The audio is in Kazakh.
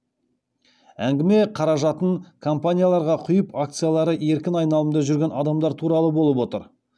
әңгіме қаражатын компанияларға құйып акциялары еркін айналымда жүрген адамдар туралы болып отыр